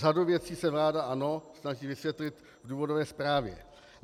Řadu věcí se vláda, ano, snaží vysvětlit v důvodové zprávě.